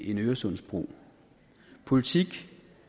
øresundsbro politik